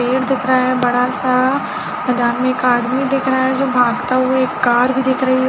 पेड़ दिख रहा है बड़ा सा मैदान में एक आदमी दिख रहा है जो भागता हुआ एक कार भी दिख रही है।